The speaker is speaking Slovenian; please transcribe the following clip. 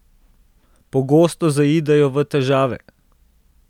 Pogosto zaidejo v težave.